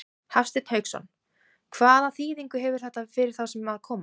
Hafsteinn Hauksson: Hvaða þýðingu hefur þetta fyrir þá sem að koma?